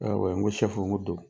N ko N ko don.